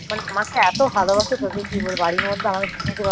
মানে আমাকে এতো ভালোবাসা তোকে কি বলব বাড়ির মধ্যে আমাকে যেতে ভালোবাসে